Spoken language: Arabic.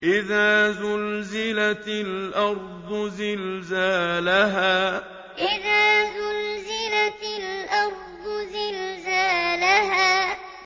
إِذَا زُلْزِلَتِ الْأَرْضُ زِلْزَالَهَا إِذَا زُلْزِلَتِ الْأَرْضُ زِلْزَالَهَا